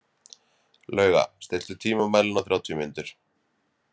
Lauga, stilltu tímamælinn á þrjátíu mínútur.